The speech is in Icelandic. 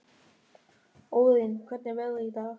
Óðinn, hvernig er veðrið í dag?